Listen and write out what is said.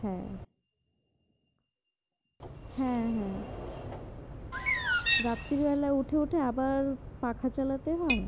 হ্যাঁ হ্যাঁ হ্যাঁ রাত্রি বেলা উঠে উঠে আবার পাখা চালাতে হয়।